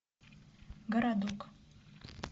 городок